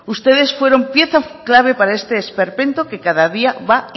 ustedes fueron pieza clave para este esperpento que cada día va